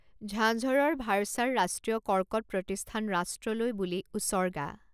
ঝাঝৰৰ ভাড়চাৰ ৰাষ্ট্ৰীয় কৰ্কট প্ৰতিষ্ঠান ৰাষ্ট্ৰলৈ বুলি উচৰ্গা